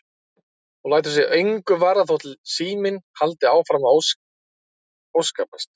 Og lætur sig engu varða þótt síminn haldi áfram að óskapast.